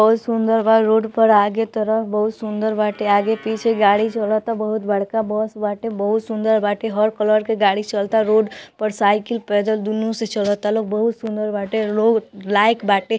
बहुत सुंदर बा रोड पर आगे तरफ बहुत सुंदर बाटे आगे पीछे गाड़ी छोड़ाता बहुत बड़का बस बाटे बहुत सुंदर बाटे हर कलर के गाड़ी चलाता रोड पर साइकिल पैदल दूनू से चलाता लोग बहुत सुंदर बाटे लोग लाइक बाटे।